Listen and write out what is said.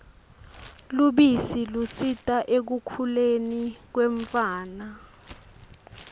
lubisi lusita ekukhuleni kwemtfwana